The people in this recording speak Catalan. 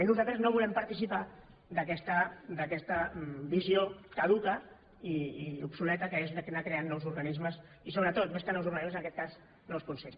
i nosaltres no volem participar d’aquesta visió caduca i obsoleta que és anar creant nous organismes i sobretot més que nous organismes en aquest cas nous consells